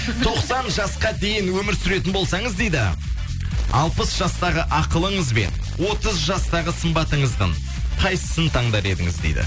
тоқсан жасқа дейін өмір сүретін болсаңыз дейді алпыс жастағы ақылыңыз бен отыз жастағы сымбатыңыздың қайсысын таңдар едіңіз дейді